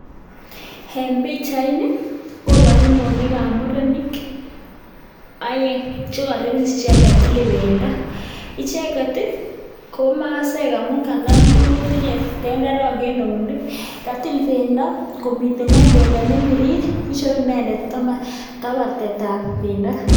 En pichait nii kobooru keunek ab murenik oeng che tile pendo. Icheget ko masaek amun tinye tukun cheu tenderek en keunek. Katil pendo komii inguony icheri kabartet.